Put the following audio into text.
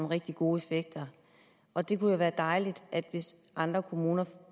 rigtig gode effekter og det kunne jo være dejligt hvis andre kommuner